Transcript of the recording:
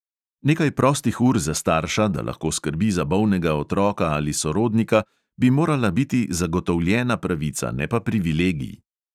Nekaj prostih ur za starša, da lahko skrbi za bolnega otroka ali sorodnika, bi morala biti zagotovljena pravica, ne pa privilegij.